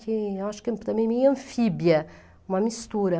Que eu acho que também é meio anfíbia, uma mistura.